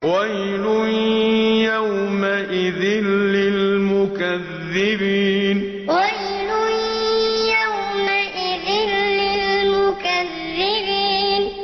وَيْلٌ يَوْمَئِذٍ لِّلْمُكَذِّبِينَ وَيْلٌ يَوْمَئِذٍ لِّلْمُكَذِّبِينَ